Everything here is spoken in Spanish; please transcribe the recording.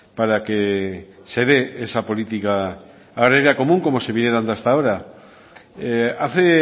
para que se de esa política agraria común como se viene dando hasta ahora hace